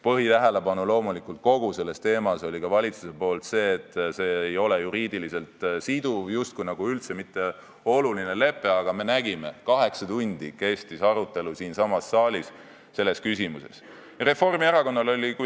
Põhitähelepanu kogu selle teema puhul läks ka valitsusel sellele, et see ei ole juriidiliselt siduv, see justkui ei ole üldse mitte oluline lepe, aga me nägime, et arutelu siinsamas saalis selles küsimuses kestis kaheksa tundi.